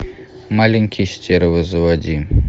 маленькие стервы заводи